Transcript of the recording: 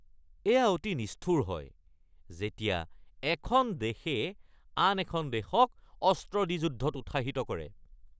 এয়া অতি নিষ্ঠুৰ হয় যেতিয়া এখন দেশে আন এখন দেশক অস্ত্ৰ দি যুদ্ধক উৎসাহিত কৰে।